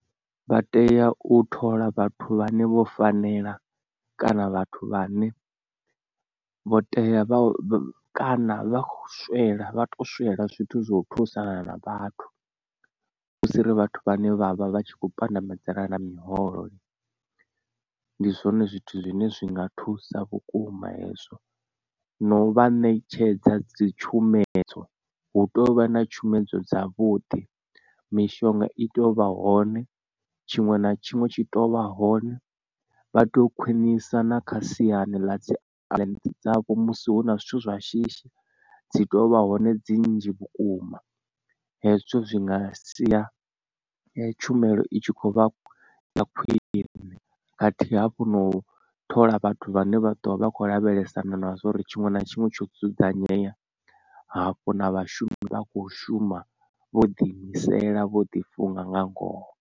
Vha tea u thola vhathu vhane vho fanela kana vhathu vha ne vho tea kana vhakho swela vha to swela zwithu zwa u thusana na vhathu husiri vhathu vhane vhavha vhatshi kho pandamedzana na miholo. Ndi zwone zwithu zwine zwi nga thusa vhukuma hezwo na u vha ṋetshedza dzi tshumedzo hu tou vha na tshumedzo dza vhuḓi mishonga i tea u vha hone tshiṅwe na tshiṅwe tshi to vha hone vha to khwinisa na kha siani ḽa dzi clients dzavho musi hu na zwithu zwa shishi dzi tovha hone dzi nnzhi vhukuma. Hezwi zwithu zwi nga sia tshumelo i tshi khou vha na khwine khathihi hafhu na u thola vhathu vhane vha ḓovha vha kho lavhelesana na zwa uri tshiṅwe na tshiṅwe tsho dzudzanyea hafho na vhashumi vha kho shuma vho ḓi imisela vho ḓi funga nga ngoho.